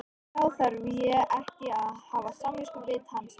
Þá þarf ég ekki að hafa samviskubit hans vegna?